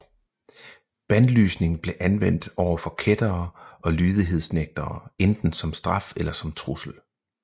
Bandlysning blev anvendt overfor kættere og lydighedsnægtere enten som straf eller som trussel